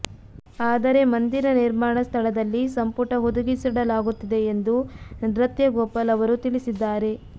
ಆದರೆ ಮಂದಿರ ನಿರ್ಮಾಣ ಸ್ಥಳದಲ್ಲಿ ಸಂಪುಟ ಹುದುಗಿಸಿಡಲಾಗುತ್ತಿದೆ ಎಂದು ನೃತ್ಯ ಗೋಪಾಲ್ ಅವರು ತಿಳಿಸಿದ್ದಾರೆ